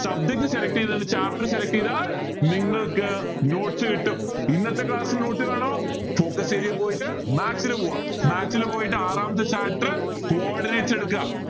subject slelct ചെയ്ത് chapter select ചെയ്‌താൽ നിങ്ങൾക്ക് notes കിട്ടും ഇന്നത്തെ class ന്റെ note വേണോ focus area പോയിട്ട് maths ൽ പോവാ maths ൽ പോയിട്ട് ആറാമത്തെ chapter coordinates എടുക്ക